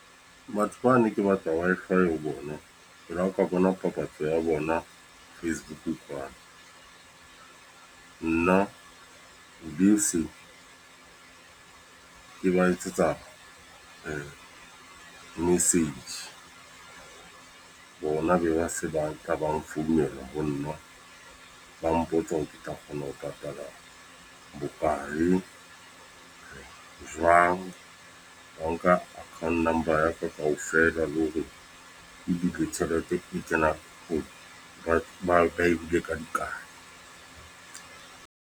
Batho ba ne ke batla Wi-Fi ho bona. Ke la ka bona papatso ya bona Facebook . Nna be se ke ba etsetsa message. Bona be ba se ba tla ba nfounela ho nna, ba mpotsa hore ke tla kgona ho patala bokae, jwang. Wa nka account number ka ofela. Le ho re ebile tjhelete e tlo ho banka e hule ka di kae.